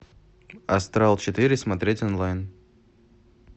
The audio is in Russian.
астрал четыре смотреть онлайн